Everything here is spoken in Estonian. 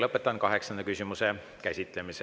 Lõpetan kaheksanda küsimuse käsitlemise.